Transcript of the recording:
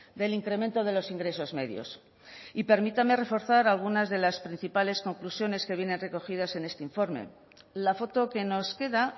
del incremento de los ingresos medios y permítame reforzar algunas de las principales conclusiones que vienen recogidas en este informe la foto que nos queda